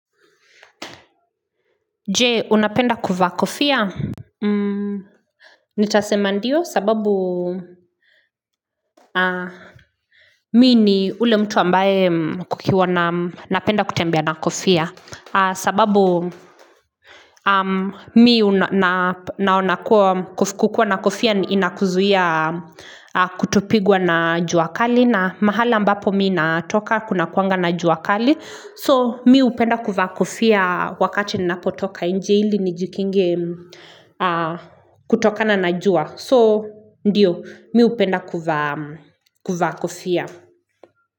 Je, unapenda kuvaa kofia? Nitasema ndio sababu mimi ni ule mtu ambaye kukiwa na napenda kutambea na kofia. Sababu mimi naona kuwa kukuwa na kofia inakuzuia kutopigwa na jua kali na mahala mbapo mimi natoka kuna kuanga na jua kali. So mimi hupenda kuvaa kofia wakati ninapotoka nje ili nijikinge kutokana najua. So ndio mimi hupenda kuvaa kofia.